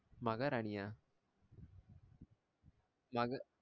மகாராணியா மக